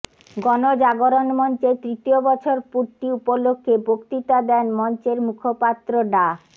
গণজাগরণ মঞ্চের তৃতীয় বছর পূর্তি উপলক্ষে বক্তৃতা দেন মঞ্চের মুখপাত্র ডা